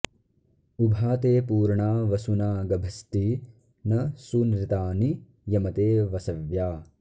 उभा ते पूर्णा वसुना गभस्ती न सूनृता नि यमते वसव्या